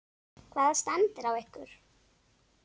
Hvaða stand er á ykkur?